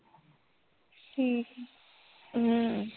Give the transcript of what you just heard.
ਠੀਕ ਐ ਹਮ